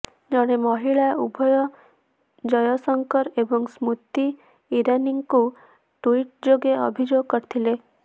ଜଣେ ମହିଳା ଉଭୟ ଜୟଶଙ୍କର ଏବଂ ସ୍ମୃତି ଇରାନୀଙ୍କୁ ଟୁଇଟ୍ ଯୋଗେ ଅଭିଯୋଗ କରିଥିଲେ